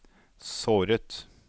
såret